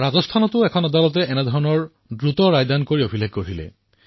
ৰাজস্থানেও তেওঁলোকৰ ন্যায়ালয়ত এনেকুৱাই তাৎক্ষণিক সিদ্ধান্ত গ্ৰহণ কৰিছিল